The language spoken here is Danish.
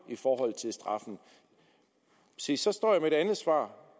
i forhold til straffen se så står jeg med et andet svar